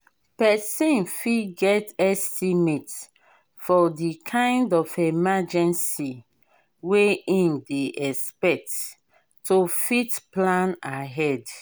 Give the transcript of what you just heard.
person fit get estimate for di kind of emergency wey im dey expect to fit plan ahead